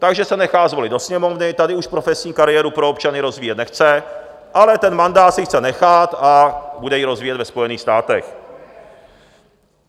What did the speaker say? Takže se nechá zvolit do Sněmovny, tady už profesní kariéru pro občany rozvíjet nechce, ale ten mandát si chce nechat, a bude ji rozvíjet ve Spojených státech.